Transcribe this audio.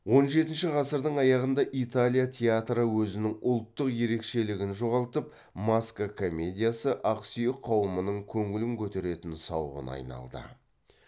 он жетінші ғасырдың аяғында италия театры өзінің ұлттық ерекшелігін жоғалтып маска комедиясы ақсүйек қауымының көңіл көтеретін сауығына айналды